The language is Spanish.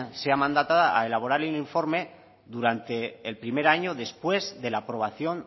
sea mandatada a elaborar el informe durante el primer año después de la aprobación